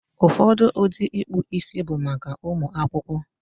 Ụfọdụ ụdị ịkpụ isi bụ maka ụmụ akwụkwọ.